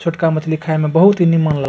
छोटका मछली खाए में बहुत ही निमन --